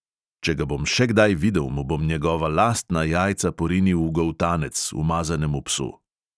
Če ga bom še kdaj videl, mu bom njegova lastna jajca porinil v goltanec, umazanemu psu.